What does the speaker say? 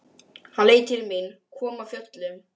Hann leit til mín, kom af fjöllum.